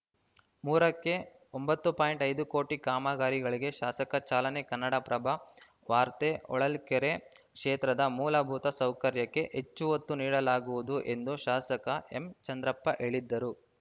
ಮೂರಕ್ಕೆ ಒಂಬತ್ತು ಪಾಯಿಂಟ್ ಐದು ಕೋಟಿ ಕಾಮಗಾರಿಗಳಿಗೆ ಶಾಸಕ ಚಾಲನೆ ಕನ್ನಡಪ್ರಭ ವಾರ್ತೆ ಹೊಳಲ್ಕೆರೆ ಕ್ಷೇತ್ರದ ಮೂಲಭೂತ ಸೌಕರ್ಯಕ್ಕೆ ಹೆಚ್ಚು ಒತ್ತು ನೀಡಲಾಗುವುದು ಎಂದು ಶಾಸಕ ಎಂಚಂದ್ರಪ್ಪ ಹೇಳಿದ್ಧರು